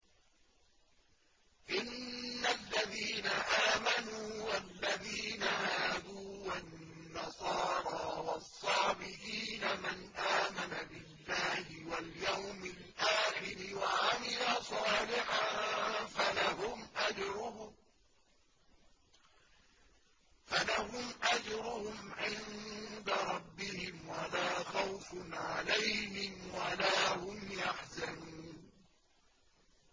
إِنَّ الَّذِينَ آمَنُوا وَالَّذِينَ هَادُوا وَالنَّصَارَىٰ وَالصَّابِئِينَ مَنْ آمَنَ بِاللَّهِ وَالْيَوْمِ الْآخِرِ وَعَمِلَ صَالِحًا فَلَهُمْ أَجْرُهُمْ عِندَ رَبِّهِمْ وَلَا خَوْفٌ عَلَيْهِمْ وَلَا هُمْ يَحْزَنُونَ